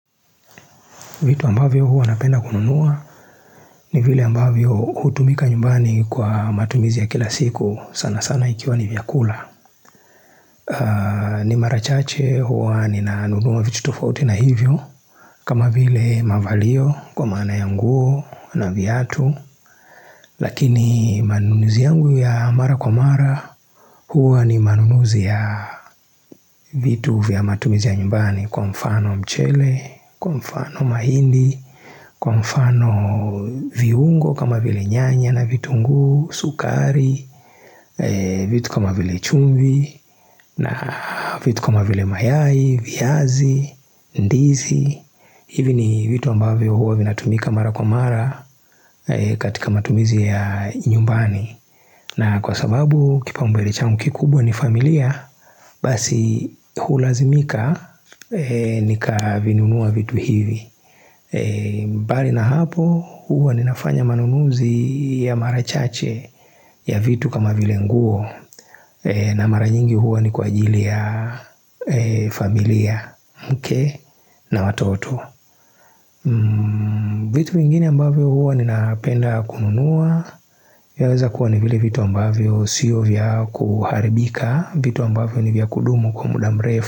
Vitu ambavyo huwa napenda kununua ni vile ambavyo hutumika nyumbani kwa matumizi ya kila siku sana sana ikiwa ni vyakula. Ni mara chache huwa nina nunua vitu tufauti na hivyo. Kama vile mavalio kwa mana ya nguo na viatu. Lakini manunuzi yangu ya mara kwa mara huwa ni manunuzi ya vitu vya matumizi ya nyumbani kwa mfano mchele, kwa mfano mahindi, kwa mfano viungo kama vile nyanya na vitungu, sukari, vitu kama vile chumvi, na vitu kama vile mayai, viazi, ndizi hivi ni vitu ambavyo huwa vinatumika mara kwa mara katika matumizi ya nyumbani na kwa sababu kipau mbele changu kikubwa ni familia, basi hulazimika nika vinunua vitu hivi mbali na hapo huwa ninafanya manunuzi ya mara chache ya vitu kama vile nguo na mara nyingi huwa ni kwa ajili ya familia mke na watoto vitu vingine ambavyo huwa ninapenda kununua Yaweza kuwa ni vile vitu ambavyo siyo vya kuharibika vitu ambavyo ni vya kudumu kwa muda mrefu.